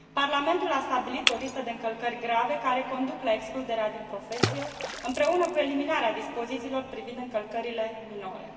Parlamentul a stabilit o listă de încălcări grave care conduc la excluderea din profesie, împreună cu eliminarea dispozițiilor privind încălcările minore.